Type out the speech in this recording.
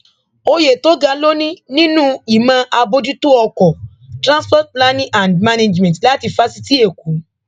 òye tó ga ló ní nínú ìmọ àbójútó ọkọ transport planning and management láti fásitì ẹkọ